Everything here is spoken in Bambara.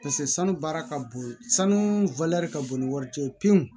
Paseke sanu baara ka bon sanu ka bon ni wari cɛ ye pewu